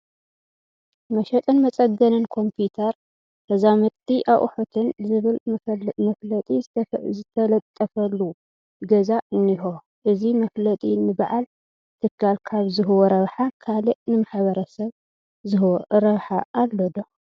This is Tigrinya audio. መሸጥን መፀገንን ኮምፒዩተር ተዛመድቲ ኣቑሑትን ዝብል መፋለጢ ዝተለጠፈሉ ገዛ እኒሆ፡፡ እዚ መፋለጢ ንበዓል ትካል ካብ ዝህቦ ረብሓ ካልእ ንማሕበረሰብ ዝህቦ ረብሓ ኣሎ ዶ?